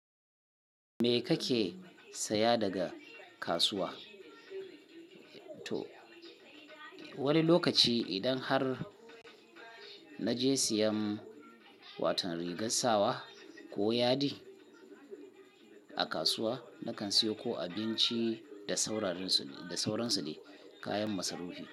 Me kake saya daga kasuwa? To, wani lokaci idan har na je siyan watau rigar sawa ko yadi a kasuwa, nakan siyo ko abinci da sauransu ne kayan masarufi.